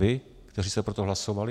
Vy, kteří jste pro to hlasovali?